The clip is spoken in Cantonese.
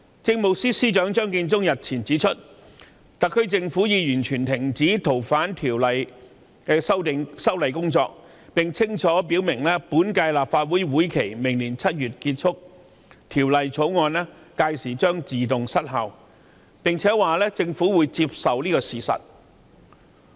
政務司司長張建宗日前指出，特區政府已經完全停止《逃犯條例》的修例工作，並且清楚表明，隨着本屆立法會任期於明年7月結束，《條例草案》屆時亦將自動失效，政府會接受這個事實。